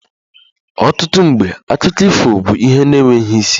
Ọtụtụ mgbe akụkọ ifo bụ ihe na-enweghị isi